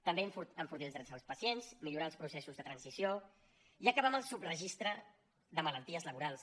també enfortir els drets dels pacients millorar els processos de transició i acabar amb el subregistre de malalties laborals